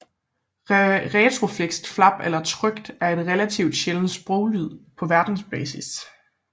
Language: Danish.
Retroflekst flap eller tykt l er en relativt sjælden sproglyd på verdensbasis